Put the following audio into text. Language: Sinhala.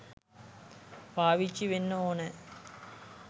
පාවිච්චි වෙන්න ඕනෑ.